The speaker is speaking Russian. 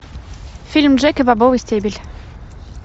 фильм джек и бобовый стебель